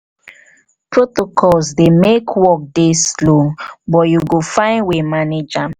protocols dey make work dey slow but you go find way manage am.